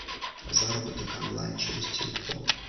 заработок онлайн через телефон